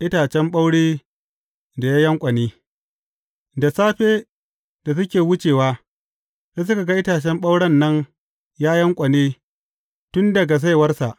Itacen ɓaure da ya yanƙwane Da safe, da suke wucewa, sai suka ga itacen ɓauren nan ya yanƙwane tun daga saiwarsa.